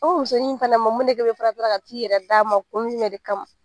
O musonin fana ma mun ne ka t'i yɛrɛ d'a ma kun jumɛn de kama?